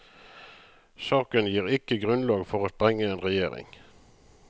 Saken gir ikke grunnlag for å sprenge en regjering.